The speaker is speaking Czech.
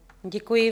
Děkuji.